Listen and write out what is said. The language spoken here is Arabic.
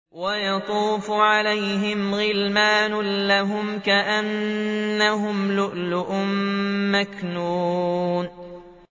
۞ وَيَطُوفُ عَلَيْهِمْ غِلْمَانٌ لَّهُمْ كَأَنَّهُمْ لُؤْلُؤٌ مَّكْنُونٌ